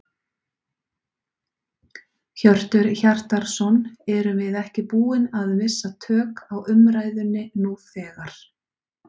Hjörtur Hjartarson: Erum við ekki búin að missa tök á umræðunni nú þegar?